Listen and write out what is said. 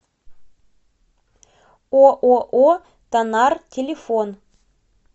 ооо танар телефон